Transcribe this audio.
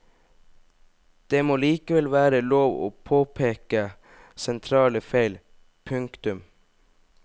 Det må likevel være lov å påpeke sentrale feil. punktum